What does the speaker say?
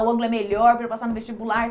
O Anglo é melhor para eu passar no vestibular.